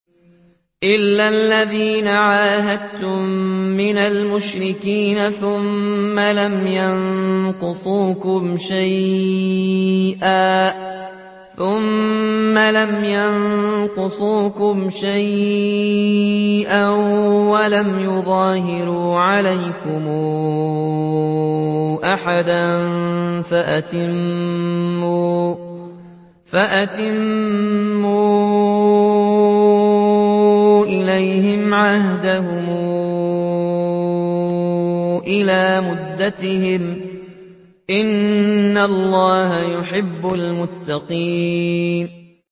إِلَّا الَّذِينَ عَاهَدتُّم مِّنَ الْمُشْرِكِينَ ثُمَّ لَمْ يَنقُصُوكُمْ شَيْئًا وَلَمْ يُظَاهِرُوا عَلَيْكُمْ أَحَدًا فَأَتِمُّوا إِلَيْهِمْ عَهْدَهُمْ إِلَىٰ مُدَّتِهِمْ ۚ إِنَّ اللَّهَ يُحِبُّ الْمُتَّقِينَ